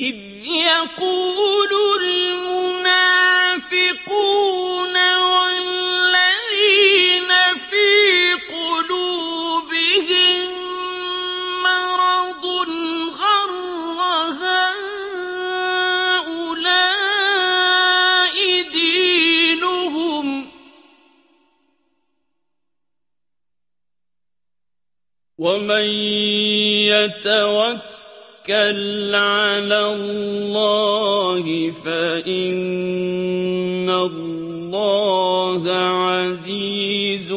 إِذْ يَقُولُ الْمُنَافِقُونَ وَالَّذِينَ فِي قُلُوبِهِم مَّرَضٌ غَرَّ هَٰؤُلَاءِ دِينُهُمْ ۗ وَمَن يَتَوَكَّلْ عَلَى اللَّهِ فَإِنَّ اللَّهَ عَزِيزٌ